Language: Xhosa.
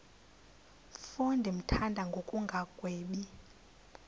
mfo ndimthanda ngokungagwebi